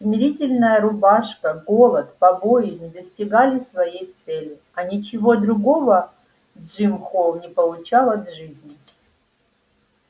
смирительная рубашка голод побои не достигали своей цели а ничего другого джим холл не получал от жизни